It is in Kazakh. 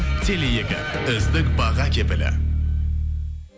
теле екі үздік баға кепілі